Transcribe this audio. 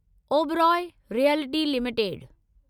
Oberoi realty limited